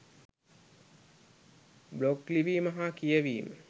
Blog ලිවීම හා කියවීම .